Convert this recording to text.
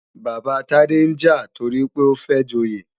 Bàbá Tade ń jà toripé ó fẹ́ joyè